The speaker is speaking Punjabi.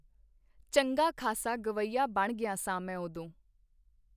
ਚੰਗਾ ਖਾਸਾ ਗੱਵਈਆ ਬਣ ਗਿਆ ਸਾਂ ਮੈਂ ਉਦੋਂ.